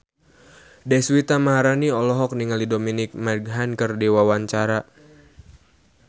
Deswita Maharani olohok ningali Dominic Monaghan keur diwawancara